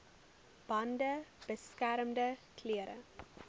bande beskermende klere